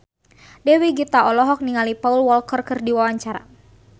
Dewi Gita olohok ningali Paul Walker keur diwawancara